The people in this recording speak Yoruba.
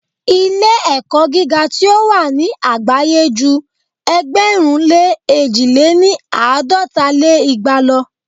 Ilé-ẹ̀kọ́ gíga tí o wà ni àgbáyé ju ẹgbẹ̀rún lé èjì lé ní àádọ́ta lé igba lo.